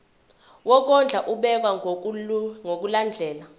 wokondla ubekwa ngokulandlela